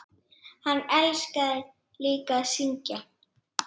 Hann elskaði líka að syngja.